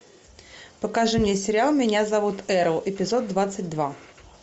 покажи мне сериал меня зовут эрл эпизод двадцать два